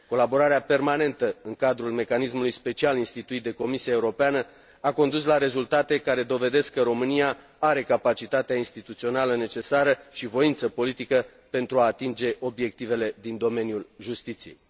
Colaborarea permanentă în cadrul mecanismului special instituit de Comisia Europeană a condus la rezultate care dovedesc că România are capacitatea instituțională necesară și voință politică pentru a atinge obiectivele din domeniul justiției.